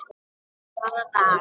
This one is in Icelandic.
Hvaða dag?